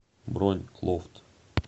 бронь лофт